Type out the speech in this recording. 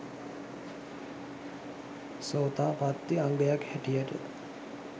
සෝතාපත්ති අංගයක් හැටියට